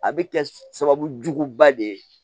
A bɛ kɛ sababu juguba de ye